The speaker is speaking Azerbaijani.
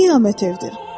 Nə qiyamət evdir!